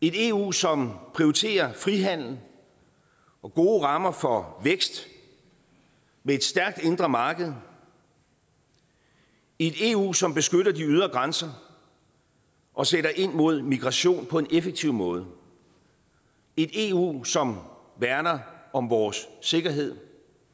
et eu som prioriterer frihandel og gode rammer for vækst med et stærkt indre marked et eu som beskytter de ydre grænser og sætter ind mod migration på en effektiv måde et eu som værner om vores sikkerhed